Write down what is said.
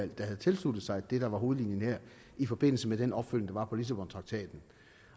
der havde tilsluttet sig det der var hovedlinjen her i forbindelse med den opfølgning der var på lissabontraktaten